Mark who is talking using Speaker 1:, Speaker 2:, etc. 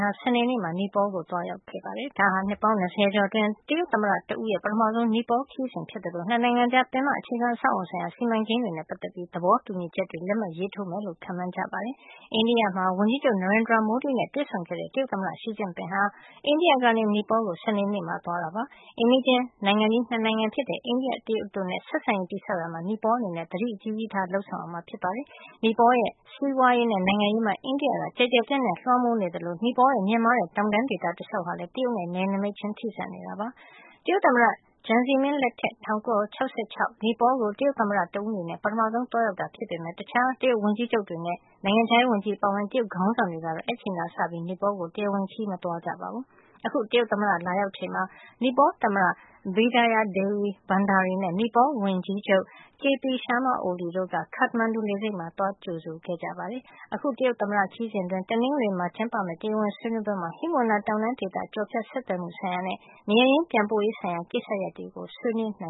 Speaker 1: ဟာ စနေနေ့မှာ နီပေါလ်နိုင်ငံကို သွားရောက်ခဲ့ပါတယ်။ ဒါဟာ နှစ်ပေါင်း ၂၀ ကျော်အတွင်း တရုတ်သမ္မတတဦးရဲ့ ပထမဆုံး နီပေါလ်ခရီးစဉ်ဖြစ်သလို နှစ်နိုင်ငံကြား ပင်မအခြေခံအဆောက်အအုံဆိုင်ရာ စီမံကိန်းတွေနဲ့ ပတ်သက်ပြီး သဘောတူညီချက်တွေ လက်မှတ်ရေးထိုးမယ်လို့လည်း ခန့်မှန်းကြပါတယ်။ အိန္ဒိယမှာ ဝန်ကြီးချုပ် Narendra Modi နဲ့ တွေ့ဆုံခဲ့တဲ့ တရုတ်သမ္မတ Xi ဟာ အိန္ဒိယကနေ နီပေါလ်ကို စနေနေ့မှာ ရောက်သွားတာဖြစ်ပါတယ်။ အိမ်နီးချင်းနိုင်ငံကြီး နှစ်နိုင်ငံဖြစ်တဲ့ အိန္ဒိယ၊ တရုတ်တို့နဲ့ ဆက်ဆံရေး တည်ဆောက်ရာမှာ နီပေါလ်အနေနဲ့ သတိကြီးကြီးထား လုပ်ဆောင်ရမှာ ဖြစ်ပါတယ်။ နီပေါလ်နိုင်ငံရဲ့ စီးပွားရေးနဲ့ နိုင်ငံရေးမှာ အိန္ဒိယက ကျယ်ကျယ်ပြန့်ပြန့် လွှမ်းမိုးမှုရှိနေသလို နီပေါလ်ရဲ့ မြင့်မားတဲ့ တောင်တန်းဒေသ တလျှောက်ဟာလည်း တရုတ်နဲ့ နယ်နိမိတ်ချင်း ထိစပ်နေတာပါ။ တရုတ်သမ္မတ Jiang Zemin လက်ထက် ၁၉၆၆ ခုနှစ်က နီပေါလ်ကို တရုတ်သမ္မတတဦးအနေနဲ့ နောက်ဆုံးသွားရောက်တာ ဖြစ်ပေမယ့် တခြား တရုတ်ဝန်ကြီးချုပ်တွေနဲ့ နိုင်ငံခြားရေးဝန်ကြီးတွေ အပါအဝင် တရုတ်ခေါင်းဆောင်တွေကတော့ အဲဒီအချိန်ကတည်းကစပြီး နီပေါလ်ကို တရားဝင်ခရီးစဉ် မသွားရောက်ကြပါဘူး။ အခု တရုတ်သမ္မတ Xi လာရောက်ချိန်မှာ နီပေါသမ္မတ Bidhya Devi Bhandari နဲ့ နီပေါလ်ဝန်ကြီးချုပ် K.P. Sharma Oli တို့က Kathmandu လေဆိပ်မှာ သွားရောက်ကြိုဆိုခဲ့ကြပါတယ်။ တရုတ်သမ္မတရဲ့ ခရီးစဉ်အတွင်း တနင်္ဂနွေနေ့မှာ ကျင်းပမယ့် တရားဝင်ဆွေးနွေးပွဲမှာ ဟိမဝန္တာတောင်တန်းဒေသ ကျော်ဖြတ်ဆက်သွယ်မှုဆိုင်ရာနဲ့ နေရပ်ရင်း ပြန်ပို့ရေးဆိုင်ရာ ကိစ္စရပ်တွေက
Speaker 2: ို အဓိက ဆွေးနွေးနို